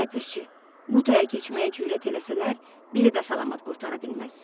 Ləpirçi, bu taya keçməyə cürət eləsələr, biri də salamat qurtara bilməz.